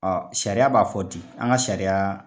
Ɔ sariya b'a fɔ di an ka sariyaŊ